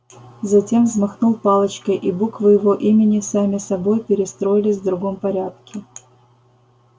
затем взмахнул палочкой и буквы его имени сами собой перестроились в другом порядке